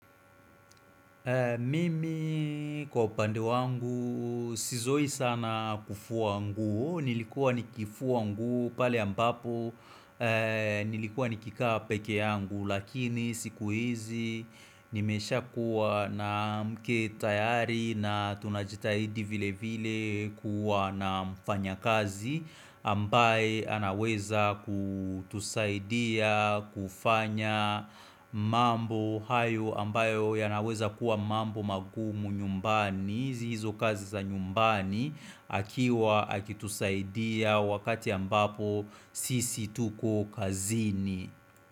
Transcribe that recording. Mimi kwa upande wangu, sizoi sana kufuo nguo, nilikuwa nikifua nguo pale ambapo, nilikuwa nikikaa pekee yangu, lakini siku hizi nimesha kuwa na mke tayari na tunajitahidi vile vile kuwa na mfanya kazi ambaye anaweza kutusaidia kufanya mambo hayo ambayo yanaweza kuwa mambo magumu nyumbani hizo kazi za nyumbani akiwa akitusaidia wakati ambapo sisi tuko kazini.